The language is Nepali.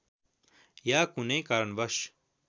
या कुनै कारणवश